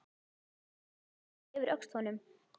Ég lagði höndina yfir öxl honum.